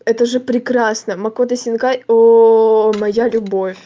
это же прекрасно макото синкай о моя любовь